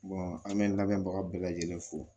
an bɛ n labɛnbaga bɛɛ lajɛlen fo